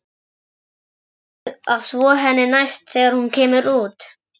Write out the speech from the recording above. Eigum við að þvo henni næst þegar hún kemur út?